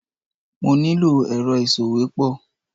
Mo ní lò èrọ ìsòwépọ̀.